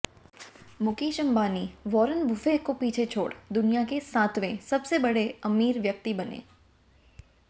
Mukesh Ambani Warren Buffett को पीछे छोड़ दुनिया के सातवें सबसे अमीर व्यक्ति बने